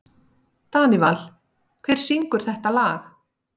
Danival, hver syngur þetta lag?